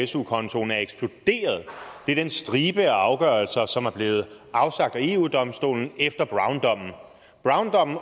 su kontoen er eksploderet det er den stribe af afgørelser som er blevet afsagt af eu domstolen efter browndommen